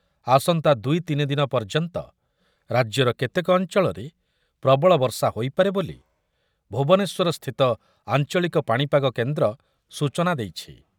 ଆସନ୍ତା ଦୁଇ ତିନି ଦିନ ପର୍ଯ୍ୟନ୍ତ ରାଜ୍ୟର କେତେକ ଅଞ୍ଚଳରେ ପ୍ରବଳ ବର୍ଷା ହୋଇପାରେ ବୋଲି ଭୁବନେଶ୍ୱରସ୍ଥିତ ଆଞ୍ଚଳିକ ପାଣିପାଗ କେନ୍ଦ୍ର ସୂଚନା ଦେଇଛି ।